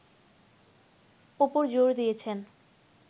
ওপর জোর দিয়েছেন